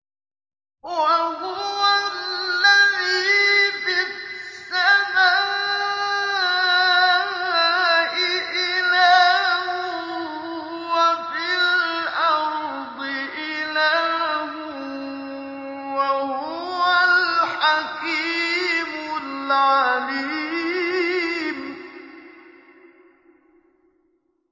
وَهُوَ الَّذِي فِي السَّمَاءِ إِلَٰهٌ وَفِي الْأَرْضِ إِلَٰهٌ ۚ وَهُوَ الْحَكِيمُ الْعَلِيمُ